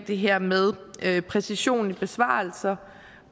det her med præcision i besvarelser